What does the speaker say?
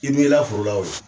I n'i la foro la o ye